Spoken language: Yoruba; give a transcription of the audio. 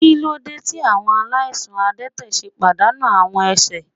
Kilode ti awọn alaisan adẹtẹ ṣe padanu awọn ẹsẹ?